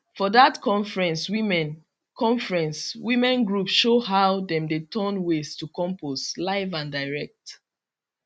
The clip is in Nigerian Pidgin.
for that conference women conference women group show how dem dey turn waste to compost live and direct